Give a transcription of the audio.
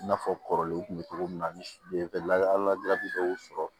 I n'a fɔ kɔrɔlenw kun bɛ cogo min na ala bɛ dɔw sɔrɔ